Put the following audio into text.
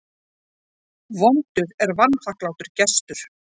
Vondur er vanþakklátur gestur.